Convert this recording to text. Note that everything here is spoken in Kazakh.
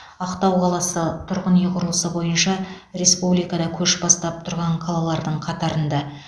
ақтау қаласы тұрғын үй құрылысы бойынша республикада көш бастап тұрған қалалардың қатарында